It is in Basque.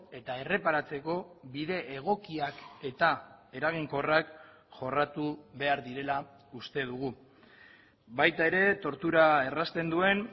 eta erreparatzeko bide egokiak eta eraginkorrak jorratu behar direla uste dugu baita ere tortura errazten duen